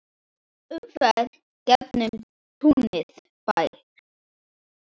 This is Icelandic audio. Umferð gegnum túnið ber.